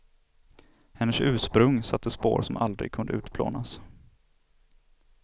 Hennes ursprung satte spår som aldrig kunde utplånas.